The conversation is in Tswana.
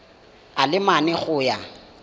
a le mane go ya